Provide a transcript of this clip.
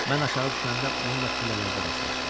Mən aşağı düşəndə onunla pillələrdə rastlaşdım.